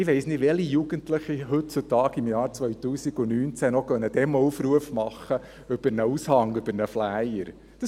Ich weiss nicht, welche Jugendlichen heutzutage, im Jahr 2019, einen Demoaufruf noch über einen Aushang, einen Flyer, machen.